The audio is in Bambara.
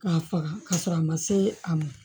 K'a faga ka sɔrɔ a ma se a ma